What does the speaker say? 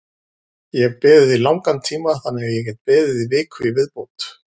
Ég hef beðið í langan tíma þannig að ég get beðið í viku í viðbót.